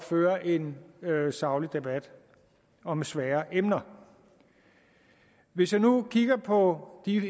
føre en saglig debat om svære emner hvis jeg nu kigger på et